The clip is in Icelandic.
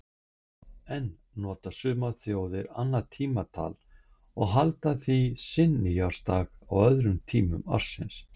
Enn nota sumar þjóðir annað tímatal og halda því sinn nýársdag á öðrum tímum ársins.